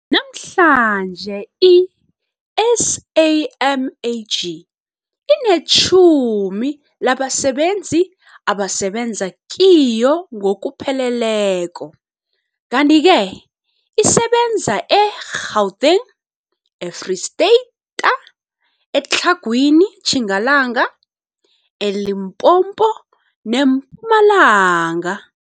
Namhlanje i-SAMAG inetjhumi labasebenzi abasebenza kiyo ngokupheleleko, kanti-ke isebenza e-Gauteng, eFreyista ta, eTlhagwini Tjingalanga, eLimpopo neMpumalanga.